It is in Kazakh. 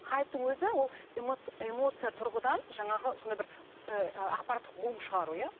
хайптың өзі ол эмоция тұрғыдан жаңағы сондай бір ііі ақпараттық бум шығару иә